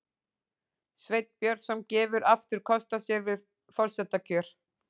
Sveinn Björnsson gefur aftur kost á sér við forsetakjör